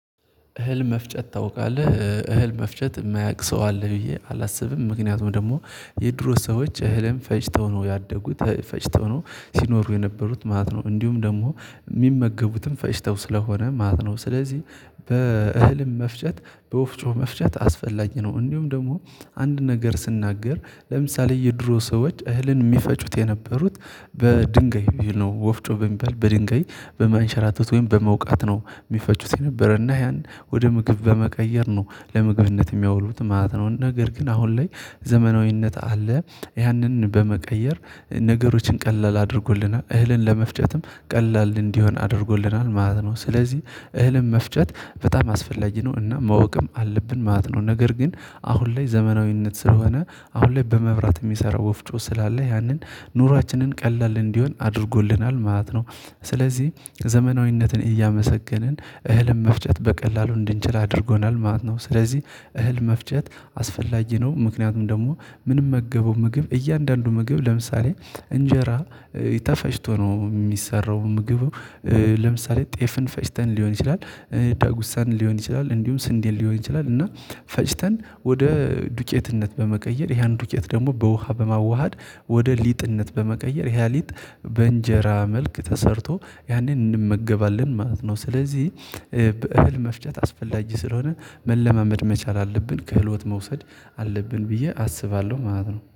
እህል መፍጨት ታውቃለህ እህል መፍጨት የማያውቅ ሰው አለ ብዬ አላስብም ምክንያቱም ደግሞ የድሮ ሰዎች እህልን ፈጭተው ነው ያደጉት ፈጭተው ነው ሲኖሩ የነበሩት ማለት ነው እንዲሁም ደግሞ የሚመገቡትም ፈጭተው ስለሆነ ማለት ነው ስለዚህ በእህልም መፍጨት በወፍጮህ መፍጨት አስፈላጊ ነው እንዲሁም ደግሞ አንድ ነገር ስናገር ለምሳሌ የድሮ ሰዎች እህልን የሚፈጩት የነበሩት በድንጋይ ወፍጮ በሚባል በድንገይ በማንሸራተት ወይም በመውቃት ነው የሚፈጩት የነበረና ያን ወደ ምግብ በመቀየር ነው ለምግብነት የሚያውሉት ማለት ነው ነገር ግን አሁን ላይ ዘመናዊነት አለ ያንን በመቀየር ነገሮችን ቀላል አድርጎልናል እህልን ለመፍጨትም ቀላል እንዲሆን አድርጎልናል ማለት ነው ስለዚህ እህልን መፍጨት በጣም አስፈላጊ ነው እና ማወቅም አለብን ማለት ነው ነገር ግን አሁን ላይ ዘመናዊነት ስለሆነ አሁን ላይ በመብራት የሚሰራው ወፍጮ ስላለ ያንን ኑሯችንን ቀላል እንዲሆን አድርጎልናል ማለት ነው ስለዚህ ዘመናዊነትን እያመሰገንን እህልን መፍጨት በቀላሉ እንድንችል አድርጎናል ማለት ነው ስለዚህ እህል መፍጨት አስፈላጊ ነው ምክንያቱም ደግሞ የምንመገበው ምግብ እያንዳንዱ ምግብ ለምሳሌ እንጀራ ተፈጭቶ ነው የሚሰራው ምግቡ ለምሳሌ ጤፍን ፈጭተን ሊሆን ይችላል ዳጉሳን ሊሆን ይችላል እንዲሁም ስንዴን ሊሆን ይችላል እና ፈጭተን ወደ ዱቄትነት በመቀየር ያን ዱቄት ደግሞ በውሃ በማዋሃድ ወደ ሊጥነት በመቀየር ያሊጥ በእንጀራ መልክ ተሰርቶ ያኔን እንመገባለን ማለት ነው ስለዚህ በእህል መፍጨት አስፈላጊ ስለሆነ መለማመድ መቻል አለብን ክህሎት መውሰድ አለብን ብዬ አስባለሁ ማለት ነው።